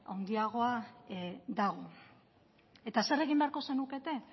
handiagoa dago eta zer egin beharko zenukete